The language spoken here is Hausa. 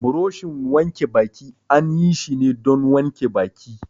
Buroshin wanke baki an yi shi ne don wanke baki.